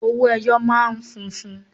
Owó ẹyọ máa ń funfun.